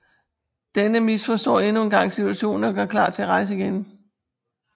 Denne misforstår endnu en gang situationen og gør klar til at rejse igen